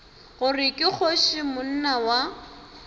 gore ke kgoši monna wa